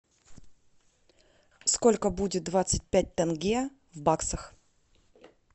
сколько будет двадцать пять тенге в баксах